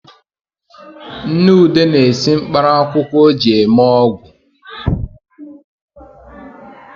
Nne ude na-esi mkparaakwụkwọ o ji eme ọgwu